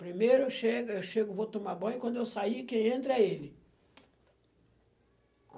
Primeiro eu chego, eu chego, vou tomar banho, quando eu sair, quem entra é ele.